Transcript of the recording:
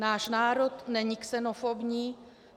Náš národ není xenofobní.